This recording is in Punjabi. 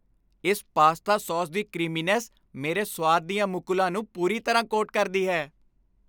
ਇਸ ਪਾਸਤਾ ਸਾਸ ਦੀ ਕ੍ਰੀਮੀਨੈੱਸ ਮੇਰੇ ਸੁਆਦ ਦੀਆਂ ਮੁਕੁਲਾਂ ਨੂੰ ਪੂਰੀ ਤਰ੍ਹਾਂ ਕੋਟ ਕਰਦੀ ਹੈ।